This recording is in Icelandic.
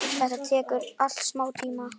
Þetta tekur allt smá tíma.